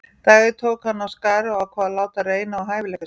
Dag einn tók hann af skarið og ákvað að láta reyna á hæfileika sína.